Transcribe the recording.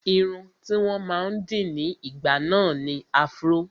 Irun tí wọ́n máa ń dì ní ìgbà náà ni afro